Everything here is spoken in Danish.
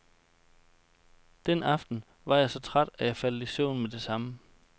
Den aften var jeg så træt, at jeg faldt i søvn med det samme.